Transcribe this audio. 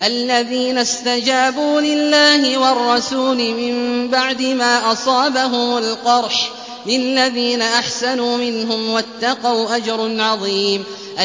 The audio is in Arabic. الَّذِينَ اسْتَجَابُوا لِلَّهِ وَالرَّسُولِ مِن بَعْدِ مَا أَصَابَهُمُ الْقَرْحُ ۚ لِلَّذِينَ أَحْسَنُوا مِنْهُمْ وَاتَّقَوْا أَجْرٌ عَظِيمٌ